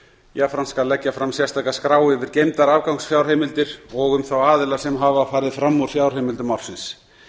jafnframt skal leggja fram sérstaka skrá yfir geymdar afgangsfjárheimildir og um þá aðila sem hafa farið fram úr fjárheimildum ársins